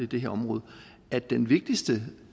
det her område er den vigtigste